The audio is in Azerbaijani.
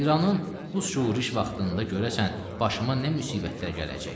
İranın bu şoruş vaxtında görəsən başıma nə müsibətlər gələcək?